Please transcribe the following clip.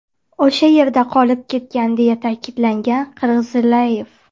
O‘sha yerda qolib ketgan”, deya ta’kidlagan Qirg‘izaliyev.